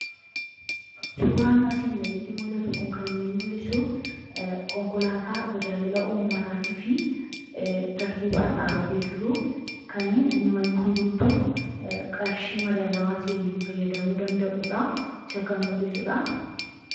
Suuraan asii gaditti mul'atu kun kan inni agarsiisu konkolaataa tajaajila uummataatiif tartiibaan dhaabatee jiru kan uummanni hundumtuu qarshii madaalawaa ta'een fayyadamuu danda’udha. Isa kan mul'isudha.